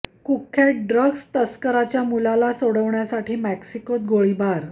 कुख्यात ड्रग्स तस्करच्या मुलाला सोडवण्यासाठी मॅक्सिकोत गोळीबार आणखी वाचा